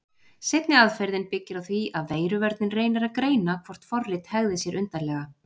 Seinni aðferðin byggir á því að veiruvörnin reynir að greina hvort forrit hegði sér undarlega.